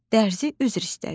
Dərzi üzr istədi.